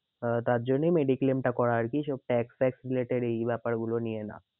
আহ তার জন্যই mediclaim টা করা আর কি এই সব tax fax related এই ব্যাপার গুলো নিয়ে না।